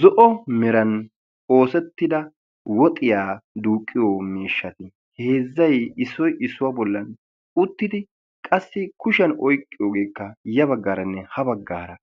Zo'o meran oosettida woxiyaa duuqqiyo miishshati heezzai issoi issuwaa bollan uttidi qassi kushiyan oyqqiyo ogeekka ya baggaaranne ha baggaara